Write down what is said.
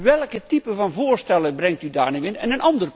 Welke typen van voorstellen brengt u daar dan in onder?